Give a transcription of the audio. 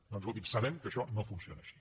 doncs escolti’m sabem que això no funciona així